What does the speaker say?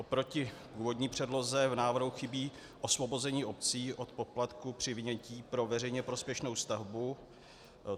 Oproti původní předloze v návrhu chybí osvobození obcí od poplatků při vynětí pro veřejně prospěšnou stavbu.